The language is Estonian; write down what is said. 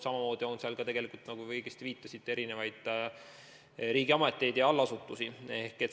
Samamoodi on seal esindatud, nagu te õigesti viitasite, erinevad riigiametid ja allasutused.